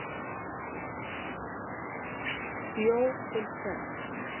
Bjó til sekt